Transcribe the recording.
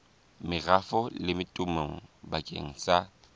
merafong le temong bakeng sa